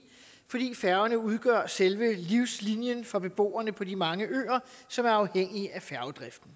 fordi færgerne udgør selve livslinjen for beboerne på de mange øer som er afhængige af færgedriften